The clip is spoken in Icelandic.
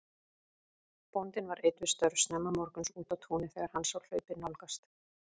Bóndinn var einn við störf snemma morguns úti á túni þegar hann sá hlaupið nálgast.